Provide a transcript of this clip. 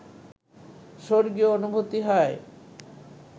স্বর্গীয় অনুভূতি হয়